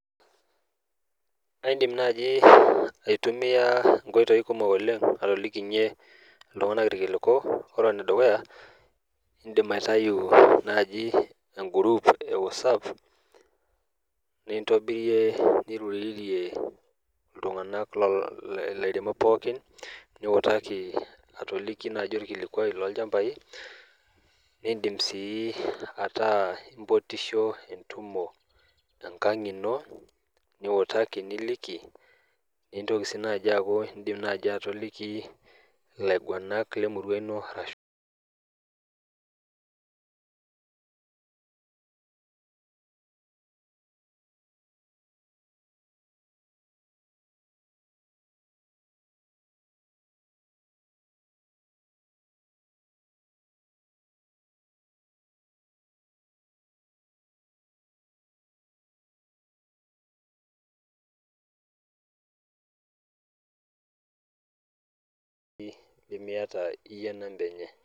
Aidim nai aitumia nkoitoi kumok atoliki iltunganak orkiliku , ore ene dukuya , indim aitayu naji egroup ewhatsapp nintobirie , nirorie ilairemok pookin , niutaki atoliki naji orkilikwai lolchambai , nindim sii ataa impotisho entumo enkang ino , niutaki niliki, nintoki sii naji aaku ,indim naji atoliki ilaiguanak lemurua ino naji limiata iyie inamba enye